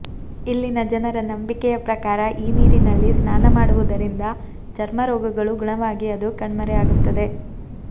ಇಲ್ಲಿನ ಜನರ ನಂಬಿಕೆಯ ಪ್ರಕಾರ ಈ ನೀರಿನಲ್ಲಿ ಸ್ನಾನ ಮಾಡುವುದರಿಂದ ಚರ್ಮ ರೋಗಗಳು ಗುಣವಾಗಿ ಅದು ಕಣ್ಮರೆ ಆಗುತ್ತದೆ